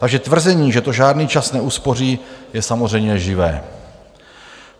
Takže tvrzení, že to žádný čas neuspoří, je samozřejmě lživé.